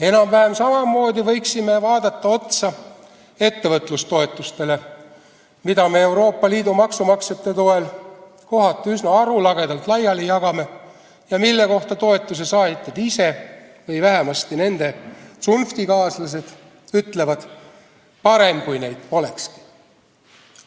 Enam-vähem samamoodi võiksime vaadata ettevõtlustoetusi, mida me Euroopa Liidu maksumaksjate toel kohati üsna arulagedalt laiali jagame ja mille kohta toetuse saajad ise või vähemasti nende tsunftikaaslased ütlevad, et parem, kui neid polekski.